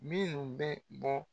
Minnu bɛ bɔ